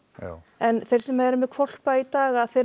en þeir sem eru með hvolpa í dag að þeir